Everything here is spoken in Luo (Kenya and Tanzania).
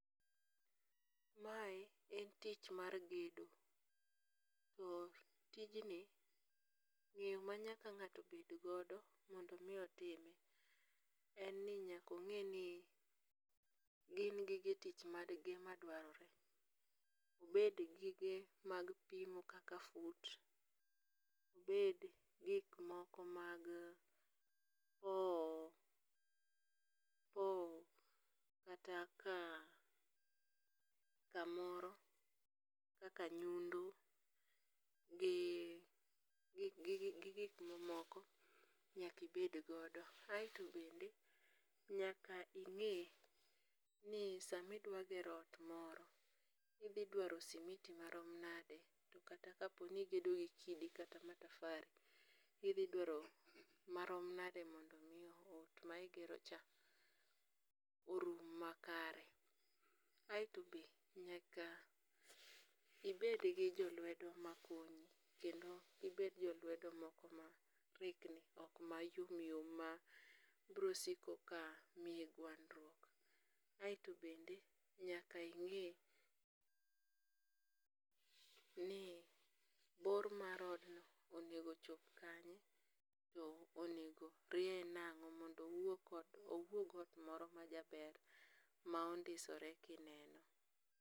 Mae en tich mar gedo, to tijni ng'eyo ma nyaka ng'ato bed godo mondo omiyo otime, en ni nyaka ong'eni gin gige tich mage madwarore, obed gige mag pimo kaka fut, obed gik moko mag powo powo kata ka kamoro kaka nyundo gi gik mamoko nyaki bed godo, aet bende nyaki ng'e ni sami dwa gero ot moro idhi dwaro simiti marom nade kata ka poni igedo gi kata matafari idhidwaro marom nade mondo omi ot ma igerocha orum makare. aeto be nyaka ibed gi jo luedo makonyi kendo gibed jolwedo moko ma orikni ok mayom yom ma brosiko ka miyi gwandruok, kaeto bende nyaka ing'e ni bor mar odno onego chop kanye to onego rieye nang'o mondo owuog ot moro majaber ma ondisore kineno